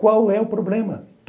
Qual é o problema?